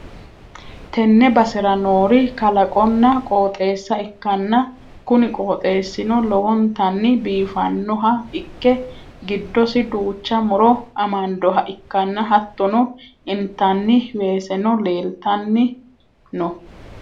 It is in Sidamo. tenne basera noori kalaqonna qooxeessa ikkanna, kuni qooxeessino lowontanni biifannoha ikke, giddosi duucha muro amandoha ikkanna, hattono intanniti weeseno leeltanni no.